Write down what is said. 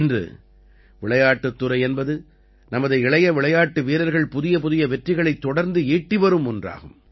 இன்று விளையாட்டுத் துறை என்பது நமது இளைய விளையாட்டு வீரர்கள் புதியபுதிய வெற்றிகளைத் தொடர்ந்து ஈட்டி வரும் ஒன்றாகும்